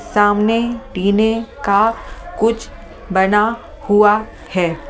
सामने टीने का कुछ बना हुआ है ।